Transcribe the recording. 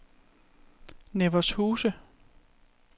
Nevershuse